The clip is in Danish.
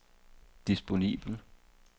disponibel